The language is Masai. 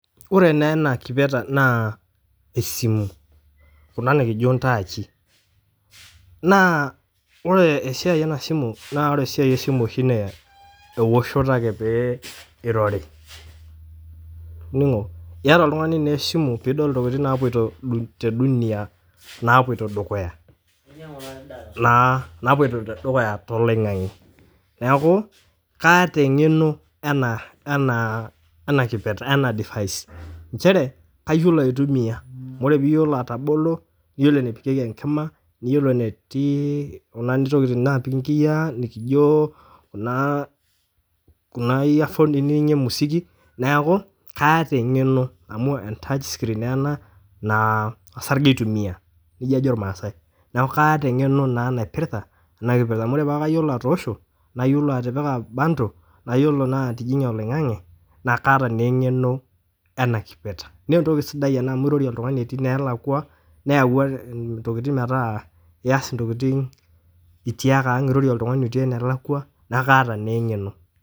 Ore naa ena kipeta naa esimu, kuna nikijpo ntaachi, naa ore esiaai ena esimu naa ore esiai oshie esimu naa eoshoto ake pee eirori ening'o, ieta oltungani naa esimu piidol ntokitin naapoito te duniya naapoto dukuya naa te loing'ang'e, naaku kaata eng'eno ena kipeta ena device inchere kayolo aitumiya, ore piiyolou atobolo niyolou nepikeki enkima, niyolo eneti noshi tokitin naapiki inkiyaa nikijo naa kuna earphones ninining'ie musiki naaku kaata engeno amu entachscreen naa ena naa esarge eitumiya, neja ajo lmaasai naaku kaata engeno naa naipirta ana kipirta amu kore paa kayiolou atoosho, nayiolou atipika pantol, nayolo naa atijing'ie oloing'ang'e naaku kaata naa engeno ena kipeta, naa entoki sidai amu irorie naa ltungani etii enalaakwa neawua ntokitin metaa iyas ntokitin itii ake aang',irorie ltungani otii enalakwa naa kaata naa engeno.